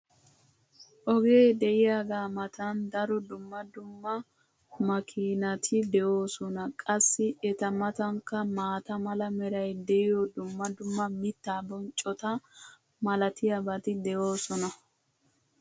ogee de'iyaagaa matan daro dumma dumm amakiinati de'oosona. qassi eta matankka maata mala meray diyo dumma dumma mitaa bonccota malatiyaabati de'oosona.